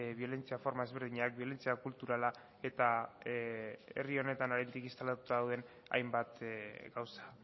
biolentzia forma ezberdinak biolentzia kulturala eta herri honetan oraindik instalatuta dauden hainbat gauza